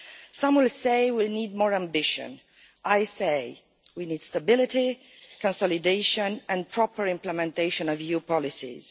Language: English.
Some will say we need more ambition I say we need stability, consolidation and proper implementation of EU policies.